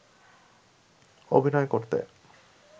অভিনয় করতে